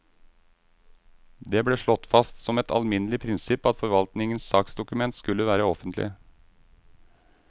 Det ble slått fast som et alminnelig prinsipp at forvaltningens saksdokument skulle være offentlige.